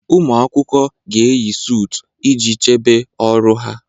Ụmụ akwụkwọ ga-eyi suut iji chebe ọrụ ha